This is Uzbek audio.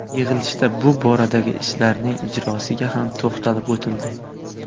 Yig‘ilishda shu boradagi ishlarning ijrosiga ham to‘xtalib o‘tildi.